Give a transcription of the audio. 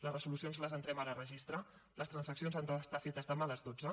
les resolucions les entrem ara a registre les transaccions han d’estar fetes demà a les dotze